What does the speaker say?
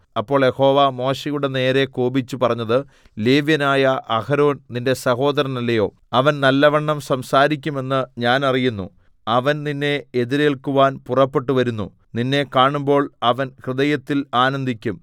അപ്പോൾ യഹോവ മോശെയുടെ നേരെ കോപിച്ച് പറഞ്ഞത് ലേവ്യനായ അഹരോൻ നിന്റെ സഹോദരനല്ലയോ അവൻ നല്ലവണ്ണം സംസാരിക്കുമെന്ന് ഞാൻ അറിയുന്നു അവൻ നിന്നെ എതിരേല്ക്കുവാൻ പുറപ്പെട്ടുവരുന്നു നിന്നെ കാണുമ്പോൾ അവൻ ഹൃദയത്തിൽ ആനന്ദിക്കും